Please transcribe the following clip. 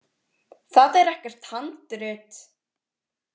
Það er ekkert handrit.